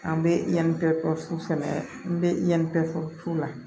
An bɛ yan bɛ sɛnɛ n bɛ yan fɛ